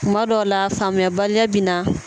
kuma dɔw la faamuyabaliya bi na